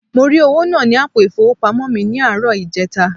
Mo ri owo naa ni apo ifowopamo mi ni aaro ijeta.